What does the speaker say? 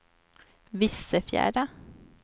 Vissefjärda